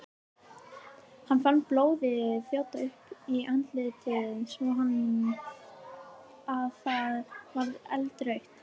Hann fann blóðið þjóta upp í andlitið svo að það varð eldrautt.